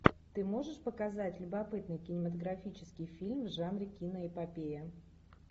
ты можешь показать любопытный кинематографический фильм в жанре киноэпопея